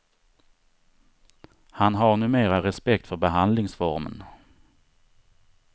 Han har numera respekt för behandlingsformen.